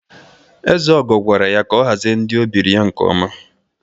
Ezeogo gwara ya ka ọ hazie ndị ebiri ya nke ọma!